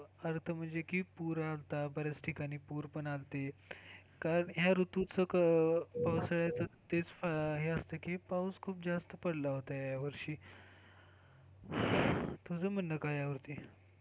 अर्थ म्हणजे कि पूर आलता. बऱ्याच ठिकाणी पुर पण आलती. कारण या ऋतूच कसंय तर तेच हे असतं की पाऊस खूप जास्त पडला होता ह्या वर्षी तुझा म्हणणं काय आहे या वरती?